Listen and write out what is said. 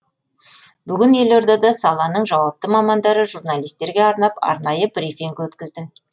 бүгін елордада саланың жауапты мамандары журналистерге арнап арнайы брифинг өткізді